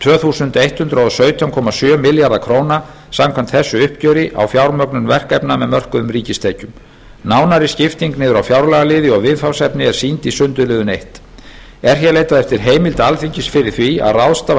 tvö þúsund hundrað og sautján komma sjö milljónir króna samkvæmt þessu uppgjöri á fjármögnun verkefna með mörkuðum ríkistekjum nánari skipting niður á fjárlagaliði og viðfangsefni er sýnd í sundurliðun fyrsta er hér leitað eftir heimild alþingi fyrir því að ráðstafa